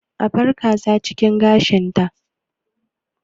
Abar kaza cikin gashin ta!